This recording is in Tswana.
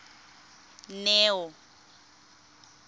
neo